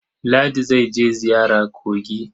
Ladi za je ziyara kogi.